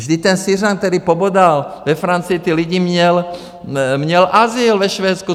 Vždyť ten Syřan, který pobodal ve Francii ty lidi, měl azyl ve Švédsku.